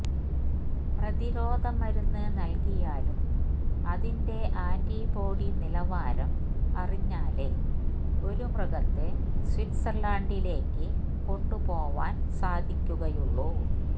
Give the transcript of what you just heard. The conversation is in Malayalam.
പ്രതിരോധ മരുന്ന് നല്കിയാലും അതിന്റെ ആന്റിബോഡി നിലവാരം അറിഞ്ഞാലെ ഒരു മൃഗത്തെ സ്വിറ്റ്സര്ലാന്ഡിലേക്ക് കൊണ്ടുപോവാന് സാധിക്കുകയുള്ളു